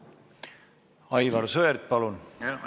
Aivar Sõerd, palun!